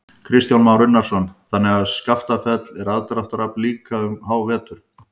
Kristján Már Unnarsson: Þannig að Skaftafell er aðdráttarafl líka um hávetur?